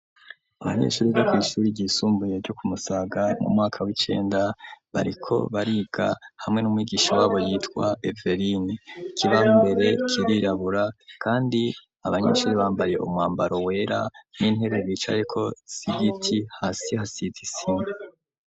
Abanyeshure biga kw'ishure ryisumbuye ryo ku Musaga, mu mwaka w'icenda, bariko bariga hamwe n'umwigisha wabo yitwa Eveline. Ikibaho imbere kirirabura kandi abanyeshure bambaye umwambaro wera n'intebe bicayeko z'igiti. Hasi hasize isima.